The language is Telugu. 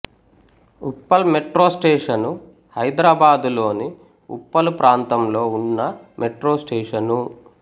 ఉప్పల్ మెట్రో స్టేషను హైదరాబాదులోని ఉప్పల్ ప్రాంతంలో ఉన్న మెట్రో స్టేషను